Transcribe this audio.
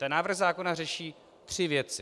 Ten návrh zákona řeší tři věci: